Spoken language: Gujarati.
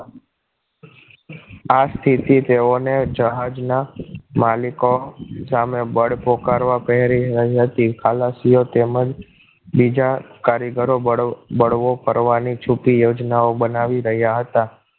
આ સ્થિતિ તેઓને જહાજના માલિકો સામે બળ પોકારવા પ્રેહરી રહી હતી ખલાસીઓ તેમજ બીજા કારીગરો બળ બળવો કરવાની છુપી યોજના બનાવી રહ્યા હતા